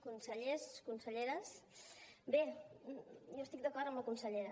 consellers conselleres bé jo estic d’acord amb la consellera